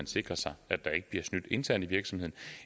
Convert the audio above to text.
sikres at der ikke bliver snydt internt i virksomheden